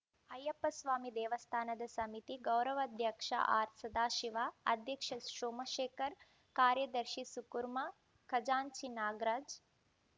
ಅಯ್ಯಪ್ಪಸ್ವಾಮಿ ದೇವಸ್ಥಾನ ಸಮಿತಿ ಗೌರವಾಧ್ಯಕ್ಷ ಆರ್‌ಸದಾಶಿವ ಅಧ್ಯಕ್ಷ ಸೋಮಶೇಖರ್‌ ಕಾರ್ಯದರ್ಶಿ ಸುಕುರ್ಮಾ ಖಜಾಂಚಿ ನಾಗರಾಜ್‌